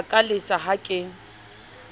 a ka lesaka ha ke